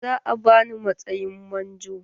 Za a bani matsayin manjo.